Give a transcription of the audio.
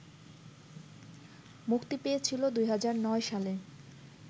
মুক্তি পেয়েছিল ২০০৯ সালে